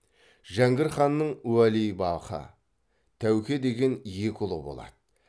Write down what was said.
жәңгір ханның уәлибақы тәуке деген екі ұлы болады